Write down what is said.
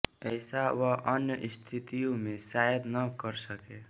ऐसा वह अन्य स्थितियों में शायद न कर सके